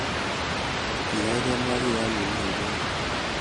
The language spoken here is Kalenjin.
Giagai, mwaa kiy yo imi taunyo